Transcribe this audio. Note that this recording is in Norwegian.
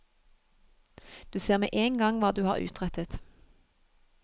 Du ser med en gang hva du har utrettet.